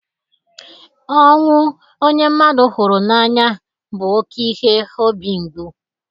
Ọnwụ onye mmadụ hụrụ n'anya bụ oke ihe obi ngbu.